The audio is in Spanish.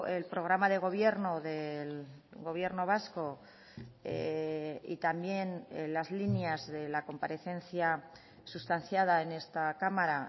el programa de gobierno del gobierno vasco y también las líneas de la comparecencia sustanciada en esta cámara